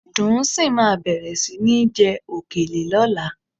Dùnńsìn máa bẹ̀rẹ̀ sí ní jẹ òkèlè lọ́la